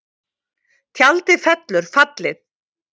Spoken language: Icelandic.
Tjaldið fellur fallið